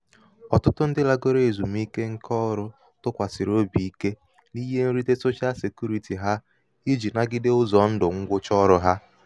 ọ̀tụtụ ndị lagoro èzum̀ike ṅkā ọrụ̄ tụkwàsàsịrị obì̀ ike n’ihe nrite soshal sèkurītì ha ijī nagide ụzọ̀ ndụ̀ ṅgwụcha ọrụ̄ hā.